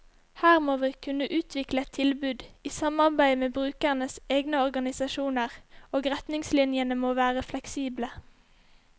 Her må vi kunne utvikle et tilbud, i samarbeid med brukernes egne organisasjoner, og retningslinjene må være fleksible.